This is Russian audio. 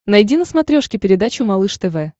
найди на смотрешке передачу малыш тв